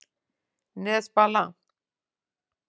Nesbala